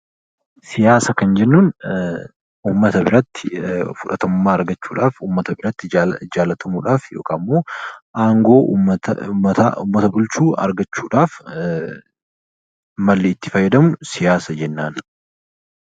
Siyaasa kan jennuun uummata biratti fudhatama argachuuf uummata biratti jaallatamuudhaaf yookaan immoo aangoo uummata bulchuu argachuudhaaf malli itti fayyadamnu siyaasa jennaan